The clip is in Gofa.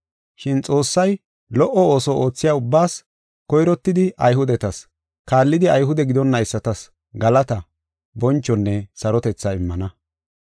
Shin Xoossay lo77o ooso oothiya ubbaas, koyrottidi Ayhudetas, kaallidi Ayhude gidonaysatas galataa, bonchonne sarotethaa immana.